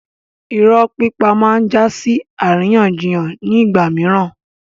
Irọ́ pípa máa ń jásí àríyànjiyàn nígbà mìíràn